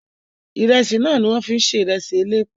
Ìrẹsì náà ni wọ́n fi ń se ìrẹsì elépo